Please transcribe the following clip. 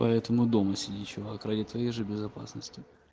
поэтому дома сиди чувак ради твоей же безопасности